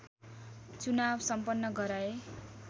चुनाव सम्पन्न गराए